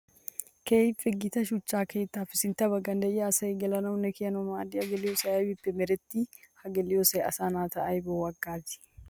Keehippe gita shuchcha keettappe sintta bagan de'iya asay gelannawunne kiyanawu maadiya geliyossay aybbippe meretti? Ha geliyossay asaa naata aybbawu hagaazi?